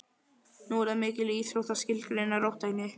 Nú er það mikil íþrótt að skilgreina róttækni.